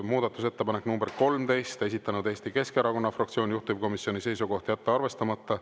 Muudatusettepanek nr 13, esitanud Eesti Keskerakonna fraktsioon, juhtivkomisjoni seisukoht on jätta arvestamata.